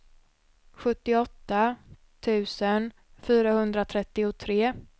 sjuttioåtta tusen fyrahundratrettiotre